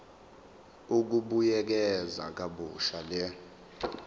ukubuyekeza kabusha le